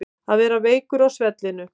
Að vera veikur á svellinu